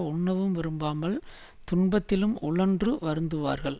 உண்ணவும் விரும்பாமல் துன்பத்திலும் உழன்று வருந்துவார்கள்